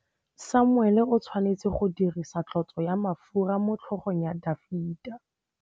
Samuele o tshwanetse go dirisa tlotsô ya mafura motlhôgong ya Dafita.